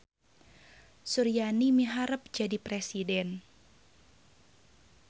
Suryani miharep jadi presiden